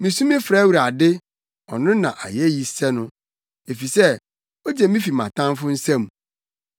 Misu frɛ Awurade; ɔno na ayeyi sɛ no, efisɛ ogye me fi mʼatamfo nsam.